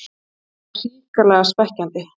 Þetta var hrikalega svekkjandi